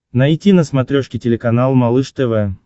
найти на смотрешке телеканал малыш тв